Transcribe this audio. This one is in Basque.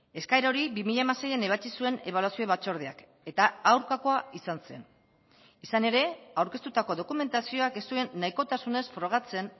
eskaera hori bi mila hamaseian ebatzi zuen ebaluazio batzordeak eta aurkakoa izan zen izan ere aurkeztutako dokumentazioak ez zuen nahikotasunez frogatzen